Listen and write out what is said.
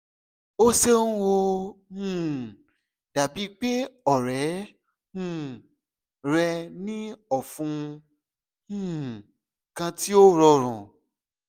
o ṣeun o um dabi pe ọrẹ um rẹ ni ọfun um kan ti o rọrun